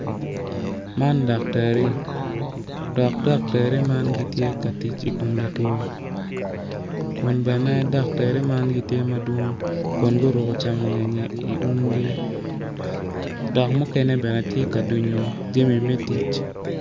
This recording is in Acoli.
Man dak tari dok daktari man gitye ka tic i kom latwo kun bene daktari man bene gitye madwong kun guruko camo ngeye i umgi dok mukene bene tye ka dunyo jami me tic.